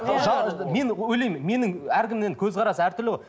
мен ойлаймын менің әркімнің енді көзқарасы әртүрлі ғой